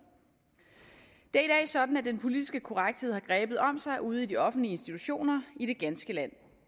dag sådan at den politiske korrekthed har grebet om sig ude i de offentlige institutioner i det ganske land